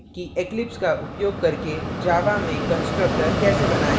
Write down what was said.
कि eclipse का उपयोग करके java में constructors कैसे बनाएँ